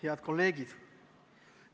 Head kolleegid!